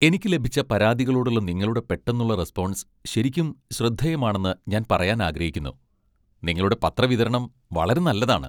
എനിക്ക് ലഭിച്ച പരാതികളോടുള്ള നിങ്ങളുടെ പെട്ടെന്നുള്ള റെസ്പോൺസ് ശരിക്കും ശ്രദ്ധേയമാണെന്ന് ഞാൻ പറയാൻ ആഗ്രഹിക്കുന്നു. നിങ്ങളുടെ പത്ര വിതരണം വളരെ നല്ലതാണ്..